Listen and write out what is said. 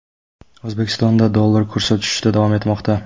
O‘zbekistonda dollar kursi tushishda davom etmoqda.